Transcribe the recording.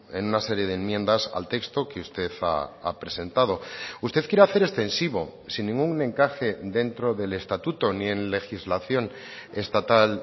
en una serie de enmiendas al texto que usted ha presentado usted quiere hacer extensivo sin ningún encaje dentro del estatuto ni en legislación estatal